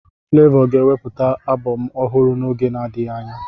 Flavour ga-ewepụta abọm ọhụrụ n'oge na-adịghị anya